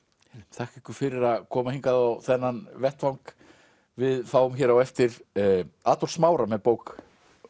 þakka ykkur fyrir að koma hingað á þennan vettvang við fáum hér á eftir Adolf Smára með bók